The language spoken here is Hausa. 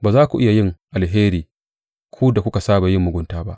Ba za ku iya yin alheri ku da kuka saba da yin mugunta ba.